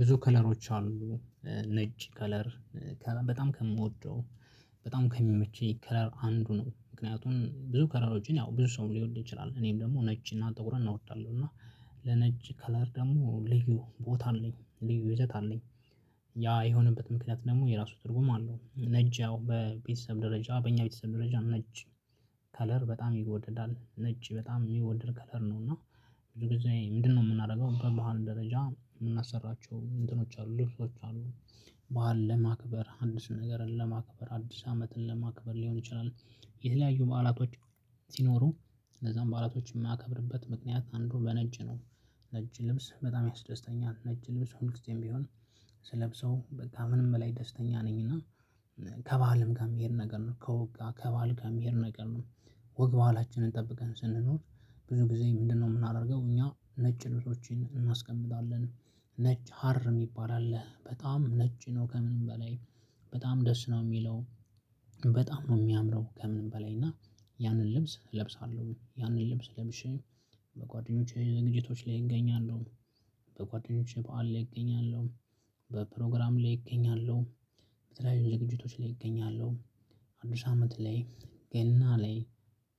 ብዙ ከለሮች አሉ ነጭ ከለር በጣም ከምወደው በጣም ከሚመቸይ ከለር አንዱ ነው። ምክንያቱም ብዙ ከለሮችን ያው ብዙ ሰው ሊወድ ይችላል እኔም ደግሞ ነጭ እና ጥቁር እወዳለሁ። እና ለነጭ ከለር ደግሞ ልዩ ቦታ አለኝ ልዩ ይዘት አለኝ። ያ የሆነበት ምክንያት ደግሞ የራሱ ትርጉም አለው። ነጭ ያው በቤተሰብ ደረጃ በእኛ ቤተሰብ ደረጃ ነጭ ከለር በጣም ይወደዳል ነጭ በጣም የሚወደድ ከለር ነው። እና ብዙ ጊዜ ምንድነው? የምናደርገው በባህል ደረጃ የምናሰራቸው እንትኖች አሉ ልብሶች አሉ። ባህል ለማክበር አዲስ ነገርን ለማክበር አዲስ አመትን ለማክበር ሊሆን ይችላል። የተለያዩ በዓላቶች። ሲኖሩ እነዛን በዓላቶች የማከብርበት ምክንያት አንዱ በነጭ ነው። ነጭ ልብስ በጣም ያስደስተኛል ነጭ ልብስ ሁል ጊዜም ቢሆን። ስለብሰው በቃ ምንም ላይ ደስተኛ ነኝና። ከባልም ጋ የሚሄድ ነገር ነው ከወግ ጋር ከባል ጋር የሚሄድ ነገር ነው። ወግ በሀላችንን ጠብቀን ስንኖር። ብዙ ጊዜ ምንድነው? የምናደርገው እኛ ነጭ ልብሶችን እናስቀምጣለን ሀር የሚባል አለ በጣም ነጭ ነው ከምንም በላይ በጣም ደስ ነው የሚለው። በጣም ነው የሚያምረው ከምንም በላይ እና። ያንን ልብስ እለብሳለሁ። ያንን ልብስ ለብሼ። በጓደኞቼ ዝግጅቶች ላይ እገኛለሁ። በጓደኞቼ በዓል ላይ እገኛለሁ። በፕሮግራም ላይ እገኛለሁ። በተለያዩ ዝግጅቶች ላይ እገኛለሁ። አዲስ አመት ላይ ገና ላይ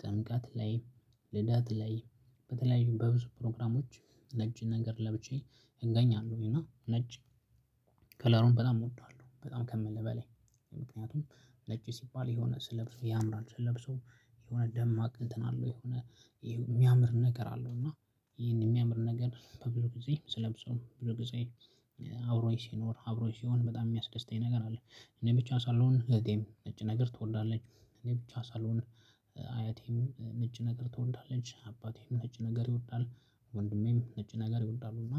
ጥምቀት ላይ ልደት ላይ በተለያዩ በብዙ ፕሮግራሞች ነጭ ነገር ለብቼ። እገኛለሁ እና ነጭ ከለሩን በጣም እወደዋለሁ። በጣም ከምልህ በላይ ምክንያቱም ነጭ ሲባል የሆነ ስለብሰው ያምራል። ስለብሰው የሆነ ደማቅ እንትን አለው የሆነ። የሚያምር ነገር አለው እና። ይሄን የሚያምር ነገር በብዙ ጊዜ ስለብሰው ብዙ ጊዜ አብሮኝ ሲኖር አብሮኝ ሲሆን በጣም የሚያስደስተኝ ነገር አለ። እኔ ብቻ ሳልሆን እህቴም ነጭ ነገር ትወዳለች። እኔ ብቻ ሳልሆን አያቴም ነጭ ነገር ትወዳለች አባቴም ነጭ ነገር ይወዳል። ወንድሜም ነጭ ነገር ይወዳሉ እና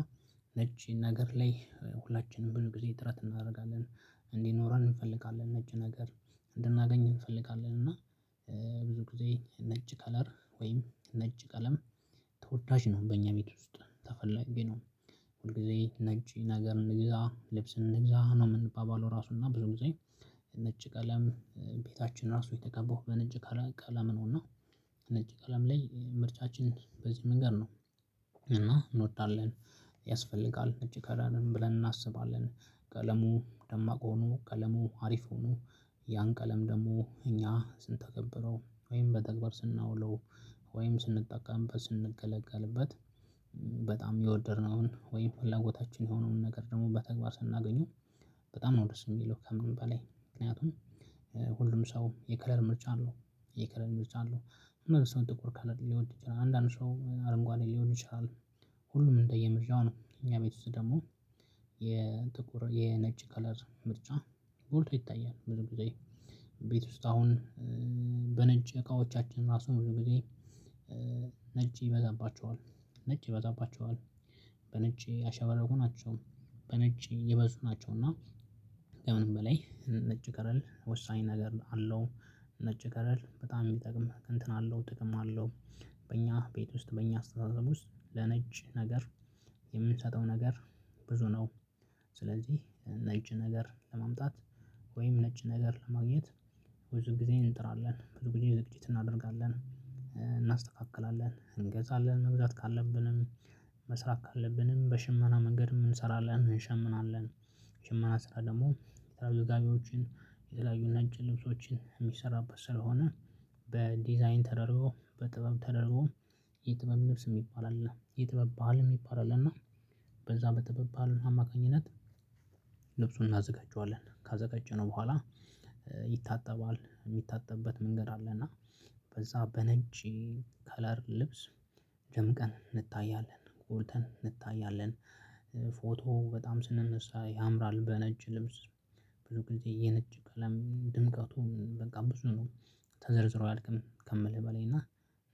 ነጭ ነገር ላይ ሁላችንም ብዙ ጊዜ ጥረት እናደርጋለን። እንዲኖረን እንፈልጋለን ነጭ ነገር እንድናገኝ እንፈልጋለን እና። ብዙ ጊዜ ነጭ ከለር ወይም ነጭ ቀለም ተወዳጅ ነው በእኛ ቤት ውስጥ ተፈላጊ ነው። ሁል ጊዜ ነጭ ነገር እንግዛ ልብስ እንግዛ ነው የምንባባለው ራሱና ብዙ ጊዜ ነጭ ቀለም ቤታችን ራሱ የተቀባውሁ በነጭ ቀለም ነውና። ነጭ ቀለም ላይ ምርጫችን በዚህ መንገድ ነው። እና እንወዳለን ያስፈልጋል ነጭ ከረንም ብለን እናስባለን። ቀለሙ ደማቅ ሆኖ ቀለሙ አሪፍ ሆኖ ያን ቀለም ደግሞ እኛ ስንተገብረው ወይም በተግባር ስናውለው ወይም ስንጠቀምበት ስንገለገልበት። በጣም የወደድነውን ወይም ፍላጎታችን የሆነውን ነገር ደግሞ በተግባር ስናገኘው። በጣም ነው ደስ ሚለው ከምን በላይ ምክንያቱም። ሁሉም ሰውም የከለር ምርጫ አለው። የከለር ምርጫ አለው አንዳንድ ሰው ጥቁር ከለር ሊወድ ይችላል አንዳንድ ሰው አረንጓዴ ሊወድ ይችላል። ሁሉም እንደየ ምርጫው ነው እኛ ቤት ውስጥ ደግሞ። የጥቁር የነጭ ከለር ምርጫ ጎልቶ ይታያል ብዙ ጊዜ። ቤት ውስጥ አሁን በነጭ እቃዎቻችን ራሱ ብዙ ጊዜ ነጭ ይበዛባቸዋል። ነጭ ይበዛባቸዋል። በነጭ ያሸበረቁ ናቸው በነጭ የበዙ ናቸው እና። ከምንም በላይ ነጭ ከረል ወሳኝ ነገር አለው። ነጭ ከረል በጣም የሚጠቅም እንትን አለው ጥቅም አለው። በእኛ ቤት ውስጥ በእኛ አስተሳሰብ ውስጥ ለነጭ ነገር። የምንሰጠው ነገር ብዙ ነው። ስለዚህ ነጭ ነገር ለማምጣት። ወይም ነጭ ነገር ለማግኘት። ብዙ ጊዜ እንጥራለን ብዙ ጊዜ ዝግጅት እናደርጋለን እናስተካክላለን እንገዛለን መግዛት ካለብንም። መስራት ካለብንም በሽመና መንገድ እንሰራለን እንሸምናለን። ሽመና ስራ ደግሞ የተለያዩ ጋቢዎችን የተለያዩ ነጭ ልብሶችን የሚሰራበት ስለሆነ። በዲዛይን ተደርጎ በጥበብ ተደርጎ። የጥበብ ንብስ የሚባል አለ የጥበብ ባል የሚባል አለ እና። በዛ በጥበብ ባል አማካኝነት። ልብሱን እናዘጋጀዋለን ካዘጋጀነው በኋላ። ይታጠባል የሚታጠብበት መንገድ አለ እና። በዛ በነጭ ከለር ልብስ ደም ቀን እንታያለን ጎልተን እንታያለን። ፎቶ በጣም ስንነሳ ያምራል በነጭ ልብስ። ብዙ ጊዜ የነጭ ቀለም ድምቀቱ በቃ ብዙ ነው። ተዘርዝሮ አያልቅም ከምልህ በላይ እና።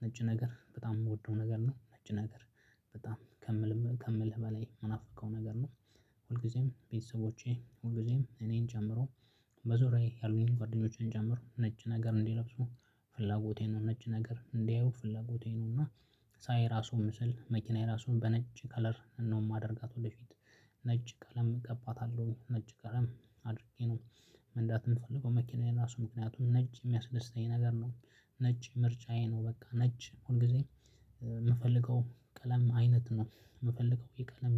ነጭ ነገር በጣም የምወደው ነገር ነው። ነጭ ነገር በጣም ከምልህ ከምልህ በላይ የምናፍቀው ነገር ነው። ሁልጊዜም ቤተሰቦቼ ሁልጊዜም እኔን ጀምሮ በዙሪያዬ ያሉኝን ጓደኞቼን ጨምሮ ነጭ ነገር እንዲለብሱ። ፍላጎቴ ነው ነጭ ነገር እንዲያዩ ፍላጎቴ ነው እና። ሳይ ራሱ ምስል መኪናዬ ራሱ በነጭ ከለር ነው የማደርጋት ወደፊት። ነጭ ቀለም እቀባታለሁ ነጭ ቀለም አድርጌ ነው። መንዳት ምፈልገው መኪናዬ ራሱ ምክንያቱም ነጭ ሚያስደስተኝ ነገር ነው። ነጭ ምርጫዬ ነው በቃ ነጭ ሁል ጊዜ። ምፈልገው ቀለም አይነት ነው። ምፈልገው የቀለም